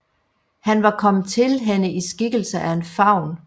Han var kommet til hende i skikkelse af en faun